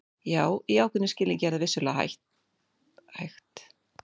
Já, í ákveðnum skilningi er það vissulega hægt.